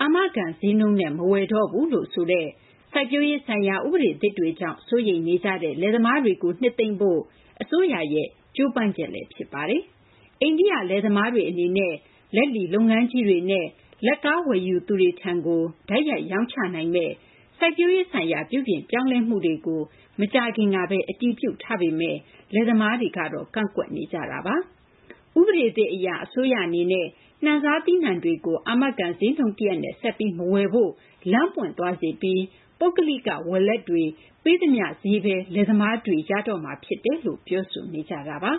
အာမခံ ဈေးနှုန်းနဲ့ မဝယ်တော့ဘူးလို့ ဆိုတဲ့ စိုက်ပျိုးရေးဆိုင်ရာ ဥပဒေသစ်တွေကြောင့် စိုးရိမ်နေကြတဲ့ လယ်သမားတွေကို နှစ်သိမ့်ဖို့ အစိုးရရဲ့ ဆောင်ရွက်ချက်လည်း ဖြစ်ပါတယ်။ အိန္ဒိယ လယ်သမားတွေ အနေနဲ့ လက်လီ လုပ်ငန်းကြီးတွေနဲ့ လက်ကား ဝယ်ယူသူတွေထံကို တိုက်ရိုက် ရောင်းချနိုင်မယ့် စိုက်ပျိုးရေး ဆိုင်ရာ ပြုပြင်ပြောင်းလဲမှုတွေကို မကြာသေးခင်ကဘဲ အတည်ပြုထား ပေမယ့် လယ်သမားတွေကတော့ ဆန့်ကျင် ကန့်ကွက်ခဲ့ကြတာပါ။ ဥပဒေသစ်အရ အစိုးရ အနေနဲ့ နှံစား သီးနှံတွေကို အာမခံ ဈေးနှုန်း တရပ်နဲ့ ဆက်ပြီး မဝယ်ဖို့ အခွင့်အလမ်း ဖြစ်သွားစေပြီး ပုဂ္ဂလိက ဝယ်လက်တွေ ပေးသမျှ ဈေးနှုန်းဘဲ လယ်သမားတွေ ရတော့မှာ ဖြစ်တယ်လို့ ပြောဆိုကြပါ